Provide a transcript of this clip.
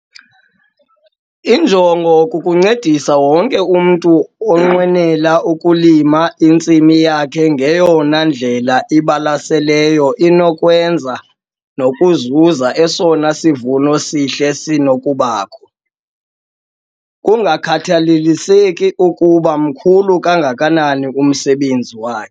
Injongo kukuncedisa wonke umntu onqwenela ukulima intsimi yakhe ngeyona ndlela ibalaseleyo inokwenzeka nokuzuza esona sivuno sihle sinokubakho, kungakhathaliseki ukuba mkhulu kangakanani umsebenzi wakhe.